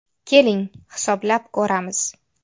Keling, hisoblab ko‘ramiz.